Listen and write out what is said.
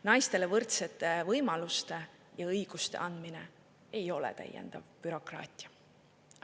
Naistele võrdsete võimaluste ja õiguste andmine ei ole täiendav bürokraatia.